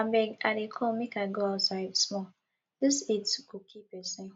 abeg i dey come make i go outside small dis heat go kill person